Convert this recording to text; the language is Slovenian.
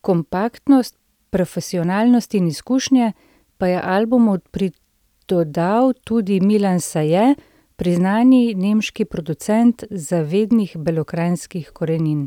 kompaktnost, profesionalnost in izkušnje pa je albumu pridodal tudi Milan Saje, priznani nemški producent zavednih belokranjskih korenin.